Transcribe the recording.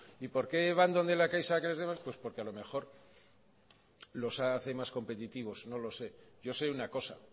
y por qué van donde la caixa a que les den créditos pues porque a lo mejor los hace más competitivos no lo sé yo sé una cosa